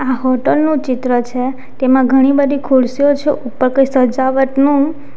આ હોટલ નું ચિત્ર છે તેમાં ઘણી બધી ખુરશીઓ છે ઉપર કઈ સજાવટનું --